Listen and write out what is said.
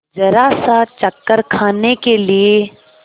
जरासा चक्कर खाने के लिए